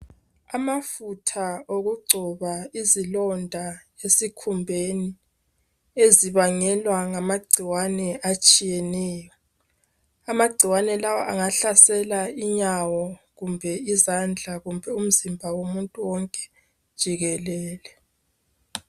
Amafutha okugcoba izilonda esikhumbeni ezibangelwa ngamagcikwane atshiyeneyo. Amagcikwane lawa angahlasela inyawo kumbe izandla kumbe umzimba womuntu wonke jikelele.